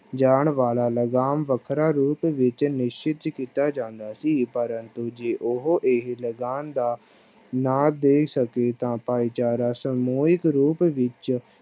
ਜਾਣਾ ਵਾਲਾ ਲਗਾਨ ਵੱਖਰਾ ਰੂਪ ਵਿੱਚ ਨਿਸ਼ਚਿਤ ਕੀਤਾ ਜਾਂਦਾ ਸੀ ਪਰੰਤੂ ਜੇ ਉਹ ਇਹ ਲਗਾਨ ਦਾ ਨਾ ਦੇਣ ਸਕੇ ਤਾਂ ਭਾਈਚਾਰਾ ਸਮੂਹਿਕ ਰੂਪ ਵਿੱਚ